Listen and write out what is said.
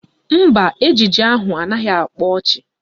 Mba, ejije ahụ anaghị akpa ọchị